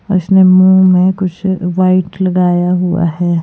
और इसने मुंह में कुछ वाइट लगाया हुआ है।